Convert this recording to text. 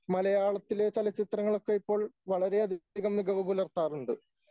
മലയാളത്തിലെ ചലച്ചിത്രങ്ങളൊക്കെയിപ്പോൾ വളരെയധികം മികവു പുലർത്താറുണ്ട്.